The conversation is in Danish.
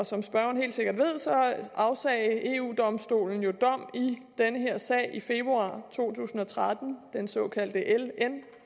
som spørgeren helt sikkert ved afsagde eu domstolen jo dom i den her sag i februar to tusind og tretten den såkaldte ln